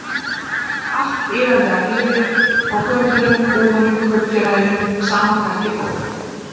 Allt iðandi af lífi, á götunum, búðunum, kaupfélaginu, sama hvert ég fór.